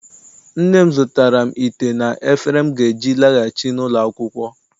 Nne m zụtaara m ite na efere m ga-eji laghachi n'ụlọ akwụkwọ.